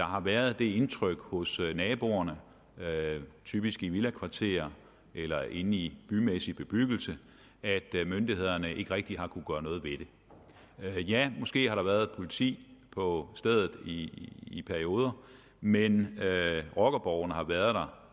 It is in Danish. har været det indtryk hos naboerne typisk i villakvarterer eller inde i bymæssig bebyggelse at myndighederne ikke rigtig har kunnet gøre noget ved det måske har der været politi på stedet i i perioder men rockerborgene har været der